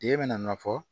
Ye bɛna nɔ fɔ